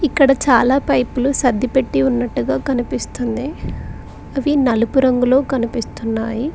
ఇక్కడ చాలా పైపులు సర్దిపెట్టి ఉన్నట్టుగా కనిపిస్తుంది అవి నలుపు రంగులో కనిపిస్తున్నాయి.